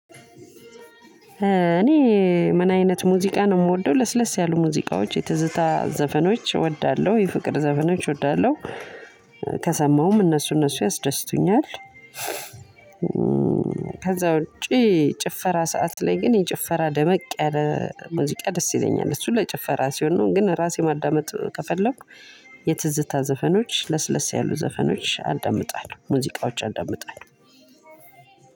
እኔ ምን አይነት ሙዚቃ ነው የምወደው ለስለስ ያሉ ሙዚቃዎች የትዝታ ዘፈኖች እወዳለሁ የፍቅር ዘፈኖች እወዳለሁ ከሰማሁም እነሱ እነሱ ያስደስቱኛል። ከዛ ውጪ ጭፈራ ሰዓት ላይ ግን የጭፈራ ደመቅ ያለ ሙዚቃ ደስ ይለኛል። እሱ ለጭፈራ ሲሆን ነው ግን ራሴ ማዳመጥ ከፈለኩ የትዝታ ዘፈኖች ለስለስ ያሉ ዘፈኖች አዳምጣለሁ። ሙዚቃዎች አዳምጣለሁ።